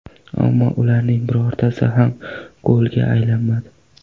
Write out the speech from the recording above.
Ammo ularning birortasi ham golga aylanmadi.